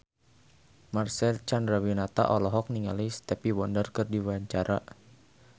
Marcel Chandrawinata olohok ningali Stevie Wonder keur diwawancara